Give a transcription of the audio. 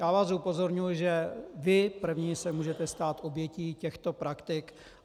Já vás upozorňuji, že vy první se můžete stát obětí těchto praktik.